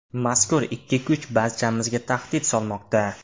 Mazkur ikki kuch barchamizga tahdid solmoqda.